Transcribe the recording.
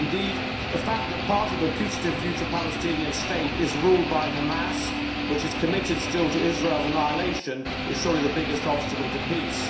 Indeed, the fact that part of the putative future Palestinian state is ruled by Hamas, which is committed still to Israel's annihilation, is surely the biggest obstacle to peace.